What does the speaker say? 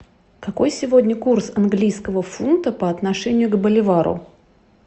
какой сегодня курс английского фунта по отношению к боливару